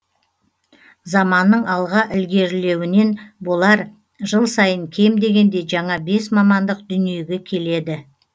заманның алға ілгеріленуінен болар жыл сайын кем дегенде жаңа бес мамандық дүниеге келеді